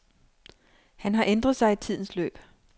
Han har ændret sig i tidens løb.